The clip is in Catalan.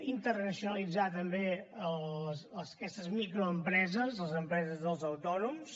internacionalitzar també aquestes microempreses les empreses dels autònoms